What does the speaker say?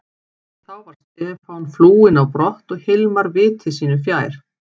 Þá var Stefán flúinn á brott og Hilmar viti sínu fjær.